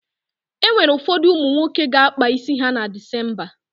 E nwere ụfọdụ ụmụ nwoke ga-akpa isi ha na Dịsemba.